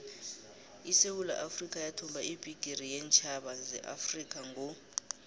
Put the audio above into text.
isewula afrikha yathumba ibhigiri yeentjhaba zeafrikha ngo